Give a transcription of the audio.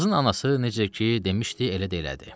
Qızın anası necə ki demişdi, elə də elədi.